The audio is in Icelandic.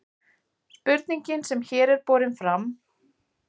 spurningin sem hér er borin fram